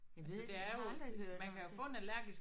Jeg ved jeg har aldrig hørt om det